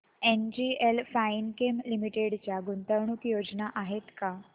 NGL Finechem limited च्या गुंतवणूक योजना आहेत का